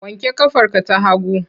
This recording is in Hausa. Wanke ƙafarka ta hagu!